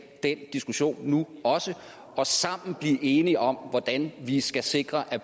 den diskussion nu og sammen blive enige om hvordan vi skal sikre at